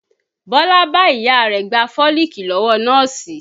Bọlá bá Ìyá rẹ̀ gba fólìkì lọ́wọ́ nọ́ọ̀sì